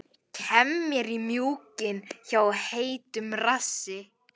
Kem mér í mjúkinn hjá heitum rassi.